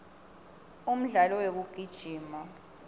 umdlalo wekugijima